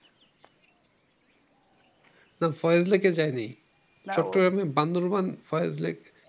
না ফয়েজ লেকে যায়নি ছোট্ট আমি বান্দরবান ফয়েজ লেক ।